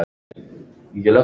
Breiði upp yfir haus.